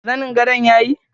zanin gadon yayi.